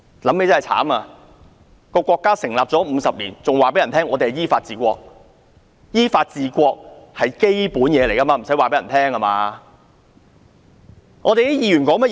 可悲的是國家成立了50年，還要對人說要依法治國，依法治國是最基本的，不需要告訴其他人。